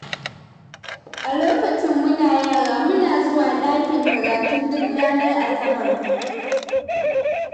A lokacin muna yara, muna zuwa ɗakin karatu duk ranar asabar.